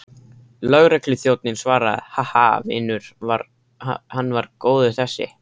Lögregluþjónninn svaraði, Ha, ha, vinur, hann var góður þessi.